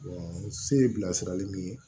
se ye bilasirali min ye